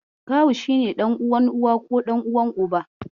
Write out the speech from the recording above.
Kawu shi ne ɗan uwan Uwa ko ɗan uwan Uba.